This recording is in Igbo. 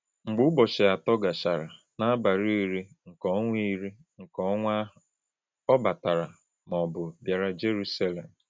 Mgbe ụbọchị atọ gachara, n’abalị iri nke ọnwa iri nke ọnwa ahụ, ọ ‘batara,’ ma ọ bụ bịara Jeruselem.